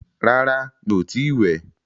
Rárá, mí o ti ì wẹ̀.